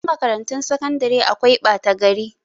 A wasu makarantun sakandare akwai ɓata gari.